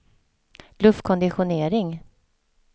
luftkonditionering